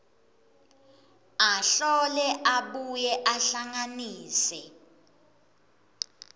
ahlole abuye ahlanganise